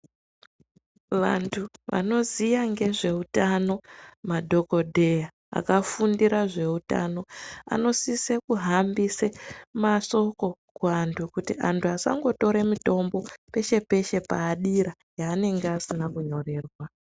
Vantu vanoziya ngezveutano madhokodheya akafundira zveutano anosise kuhambise mashoko kuantu kuti antu vasangotora mitombo peshe-peshe paadira yavanenge asina kunyorerwa.